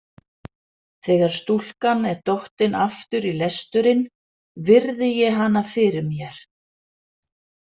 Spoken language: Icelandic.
Þegar stúlkan er dottin aftur í lesturinn virði ég hana fyrir mér.